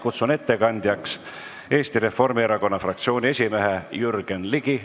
Kutsun ettekandjaks Eesti Reformierakonna fraktsiooni esimehe Jürgen Ligi.